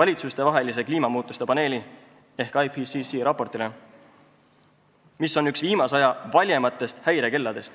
valitsustevahelise kliimamuutuste paneeli ehk IPCC raportile, mis on üks viimase aja valjematest häirekelladest.